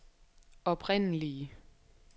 oprindelige